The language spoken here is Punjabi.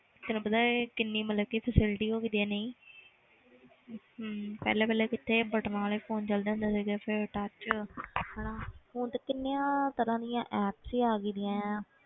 ਤੈਨੂੰ ਪਤਾ ਹੈ ਕਿੰਨੀ ਮਤਲਬ ਕਿ facility ਹੋਈ ਗਈ ਹੈ ਨਹੀਂ ਹਮ ਪਹਿਲਾਂ ਪਹਿਲਾਂ ਕਿੱਥੇ buttons ਵਾਲੇ phone ਚੱਲਦੇ ਹੁੰਦੇ ਸੀਗੇ ਫਿਰ touch ਹਨਾ ਹੁਣ ਤੇ ਕਿੰਨੀਆਂ ਤਰ੍ਹਾਂ ਦੀਆਂ apps ਹੀ ਆ ਗਈਆਂ ਆਂ